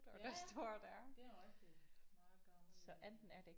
Ja ja det er rigtigt meget gammel en